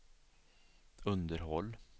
underhåll